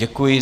Děkuji.